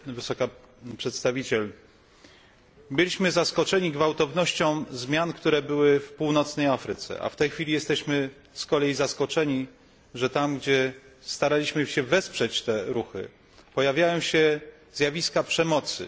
Wysoka Przedstawiciel, byliśmy zaskoczeni gwałtownością zmian, które nastąpiły w Afryce Północnej, a w tej chwili jesteśmy z kolei zaskoczeni, że tam, gdzie staraliśmy się wesprzeć te ruchy, pojawiają się zjawiska przemocy.